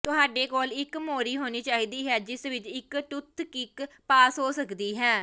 ਤੁਹਾਡੇ ਕੋਲ ਇੱਕ ਮੋਰੀ ਹੋਣੀ ਚਾਹੀਦੀ ਹੈ ਜਿਸ ਵਿੱਚ ਇਕ ਟੁੱਥਕਿਕ ਪਾਸ ਹੋ ਸਕਦੀ ਹੈ